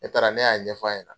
Ne taara ne y'a ɲɛfɔ a ɲɛna.